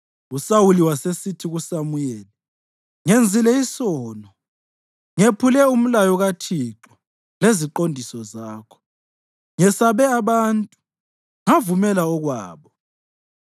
USawuli wasesithi kuSamuyeli, “Ngenzile isono. Ngephule umlayo kaThixo leziqondiso zakho. Ngesabe abantu ngavumela okwabo.